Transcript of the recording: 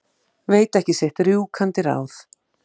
Veit ekki sitt rjúkandi ráð.